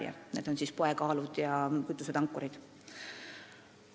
Need mõõtevahendid on siis poekaalud ja kütusetankurid.